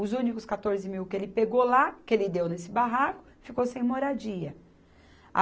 Os únicos quatorze mil que ele pegou lá, que ele deu nesse barraco, ficou sem moradia.